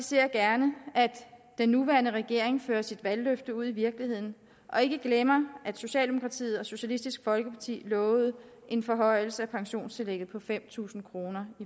ser gerne at den nuværende regering fører sit valgløfte ud i virkeligheden og ikke glemmer at socialdemokratiet og socialistisk folkeparti i lovede en forhøjelse af pensionstillægget på fem tusind kroner